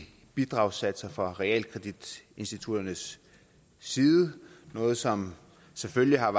bidragssatserne fra realkreditinstitutternes side noget som selvfølgelig har